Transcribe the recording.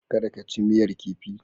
Kada ka ci miyar kifi.